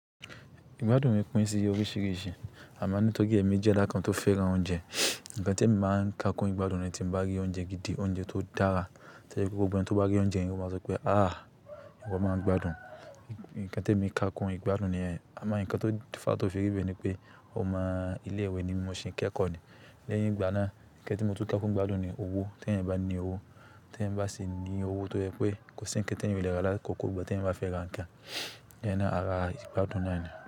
Igbádùn mi pín síye oríṣiríṣi. Àm9 nítóri émi jẹ́ eda kán tó fẹ́ràn oúnjẹ. Ǹkan tí mo máa ń ká kún ìgbádùn ni tí mo bá rí oúnjẹ gidi, oúnjẹ tó dára. Tori gbogbo igba tó bá rí oúnjẹ yen ò máa sọ pé "àh!" Ìwọ máa ń gbádùn. Ǹkan tí emi kà kún ìgbádùn niyen, àmo ǹkan tó fá tó fi rí bẹ́ẹ̀ ni pé, omo ilé ìwé ni mi mo ṣi n kẹ́kọ̀ọ́ ni. Lẹ́yìn ìgbà náà, ǹkan tí mo ti ń kà kún ìgbádùn ni owó. Tẹ́ẹ̀yan bá ní owó, tẹ́ẹ̀yan bá sì ní owó tó jẹ pé kò sì ǹkan tí ẹ́eyan ò lè ra lákòókò tí ẹ́eyań bá fẹ́ra ǹkan, lẹ́yinnaa àrá ìgbádùn náà ni.